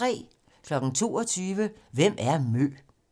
22:00: Hvem er MØ?